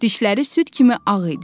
Dişləri süd kimi ağ idi.